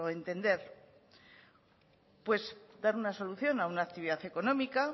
entender pues dar una solución a una actividad económica